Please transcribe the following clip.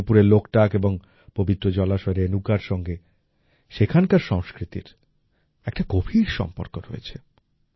মণিপুরের লোকটাক এবং পবিত্র জলাশয় রেণুকার সঙ্গে সেখানকার সংস্কৃতির একটা গভীর সম্পর্ক রয়েছে